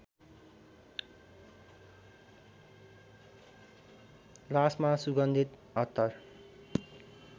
लासमा सुगन्धित अत्तर